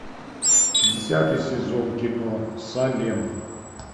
десятый сезон кино салем